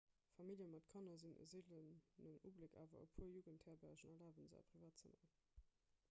famillje mat kanner sinn e seelenen ubléck awer e puer jugendherbergen erlabe se a privaten zëmmeren